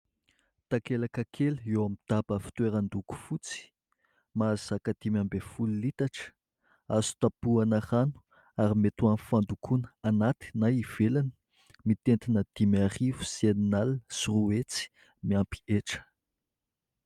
Takelaka kely eo amin'ny daba fitoeran-doko fotsy, mahazaka dimy ambin'ny folo litatra. Azo tapoana rano ary mety amin'ny fandokoana anaty na ivelana ; mitentina dimy arivo sy iray alina sy roa hetsy miampy hetra.